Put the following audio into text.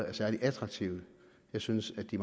er særlig attraktive jeg synes at de